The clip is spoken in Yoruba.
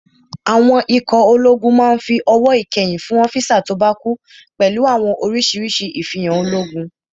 Àwọn ikọ̀ ológun máa n fi ọ̀wọ̀ ìkẹyìn fún ọ́físà tó bá kú pẹ̀lú àwọn orísirísi ifihan ológun